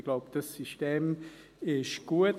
Ich glaube, dieses System ist gut.